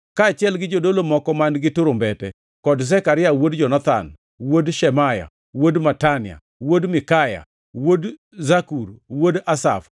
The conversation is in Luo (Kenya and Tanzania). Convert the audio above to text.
kaachiel gi jodolo moko man-gi turumbete, kod Zekaria wuod Jonathan, wuod Shemaya, wuod Matania, wuod Mikaya, wuod Zakur, wuod Asaf,